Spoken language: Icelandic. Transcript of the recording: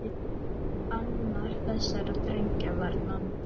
Annar þessara drengja var Nonni.